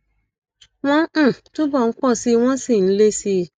wọn um túbọ ń pọ síi wọn sì ń le síi